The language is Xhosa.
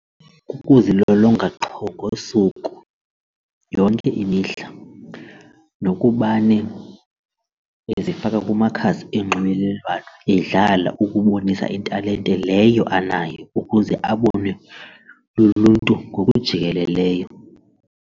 Kukuzilolonga qho ngosuku yonke imihla nokubane ezifaka kumakhasi onxibelelwano edlala ukubonisa italente leyo anayo ukuze abonwe luluntu ngokujikeleleyo.